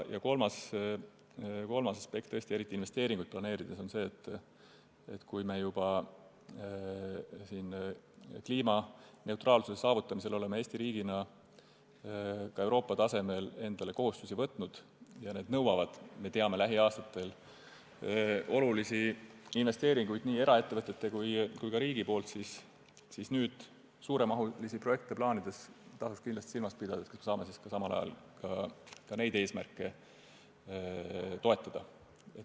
Ja kolmas aspekt, eriti investeeringuid planeerides, on see, et kui me juba oleme kliimaneutraalsuse saavutamisel Eesti riigina Euroopa tasemel endale kohustusi võtnud ja need nõuavad lähiaastatel olulisi investeeringuid nii eraettevõtetelt kui ka riigilt, siis suuremahulisi projekte plaanides tasuks kindlasti silmas pidada, kas me saaksime samal ajal ka neid eesmärke toetada.